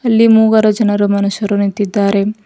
ಇಲ್ಲಿ ಮೂವರು ಜನರು ಮನುಷ್ಯರು ನಿಂತಿದ್ದಾರೆ.